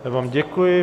Já vám děkuji.